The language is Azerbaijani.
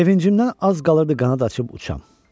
Sevincimdən az qalırdı qanad açıb uçam.